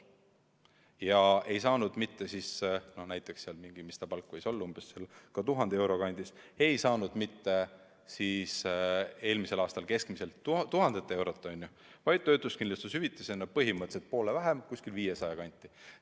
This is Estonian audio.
Ja ta ei saanud eelmisel aastal kätte mitte mingi – mis ta palk võiks olla, 1000 euro kandis – keskmiselt 1000 eurot, vaid töötuskindlustushüvitisena põhimõtteliselt poole vähem, 500 euro kanti.